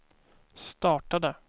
startade